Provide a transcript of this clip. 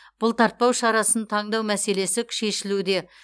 бұлтартпау шарасын таңдау мәселесік шешілуде